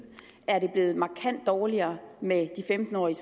er det blevet markant dårligere med de femten årige